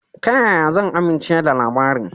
Ta ya zan aminche da labarin?